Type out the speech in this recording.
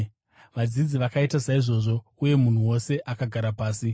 Vadzidzi vakaita saizvozvo, uye munhu wose akagara pasi.